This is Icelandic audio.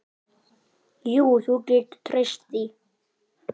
Jú, þú getur treyst því.